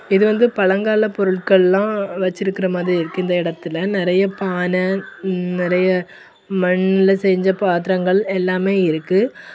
இது வந்து பழங்கால பொருட்கள்லாம் வச்சிருக்கிற மாதிரி இருக்கு இந்த இடத்துல நிறைய பான நிறைய மண்ல செஞ்சு பாத்திரங்கள் எல்லாமே இருக்கு.